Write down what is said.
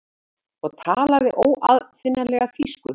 og talaði óaðfinnanlega þýsku.